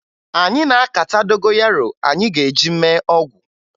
Anyị na-akata dogoyaro anyị ga-eji mee ọgwụ